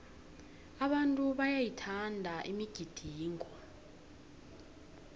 abantu bayayithanda imigidingo